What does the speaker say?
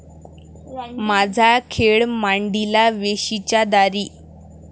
माझा खेळ मांडीला वेशीच्या दारी